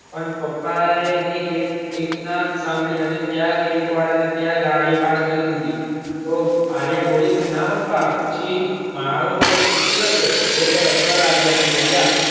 પણ પપ્પા એ એની એક એક ના સાંભળી અને ત્યાં કેક વાળા ને ત્યાં ગાડી પાર્ક કરી દીધી તો આલિયા બોલી કે ના પપ્પા પછી મારુ પેટ ફૂટી જશે વિજયભાઇ હસવા લાગ્યા અને બોલ્યા